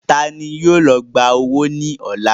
Taani yóò lọ gbà owó ní ọ̀la?